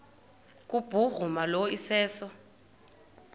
kubhuruma lo iseso